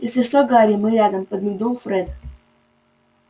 если что гарри мы рядом подмигнул фред